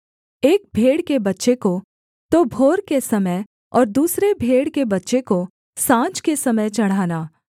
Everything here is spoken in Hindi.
एक भेड़ के बच्चे को तो भोर के समय और दूसरे भेड़ के बच्चे को साँझ के समय चढ़ाना